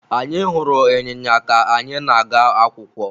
Anyị hụrụ ịnyịnya ka anyị na-aga akwụkwọ.